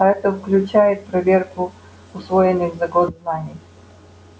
а это включает проверку усвоенных за год знаний